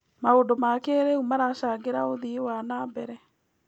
Maũndũ ma kĩrĩu maracangĩra ũthii wa na mbere.